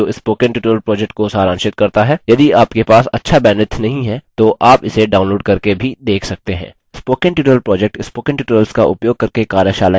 video निम्न link पर उपलब्ध है जो स्पोकन ट्यूटोरियल प्रोजेक्ट को सारांशित करता है यदि आपके पास अच्छा बैन्ड्विड्थ नहीं है तो आप इसे डाउनलोड़ करके भी देख सकते हैं